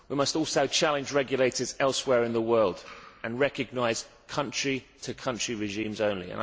We must also challenge regulators elsewhere in the world and recognise country to country regimes only.